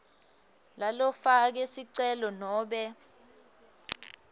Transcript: lalofake sicelo nobe